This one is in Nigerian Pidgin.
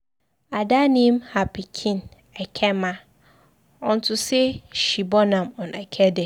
Ada name her pikin Ekemma, unto say she born am on eke day.